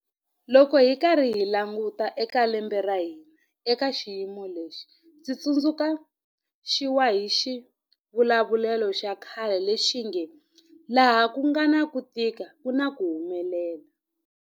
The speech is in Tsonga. Loko hi karhi hi languta eka lembe ra hina eka xiyimo lexi, ndzi tsundzu xiwa hi xivulavulelo xa khale lexi nge 'laha ku nga na ku tika ku na ku humelela'.